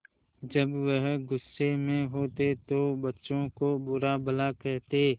जब वह गुस्से में होते तो बच्चों को बुरा भला कहते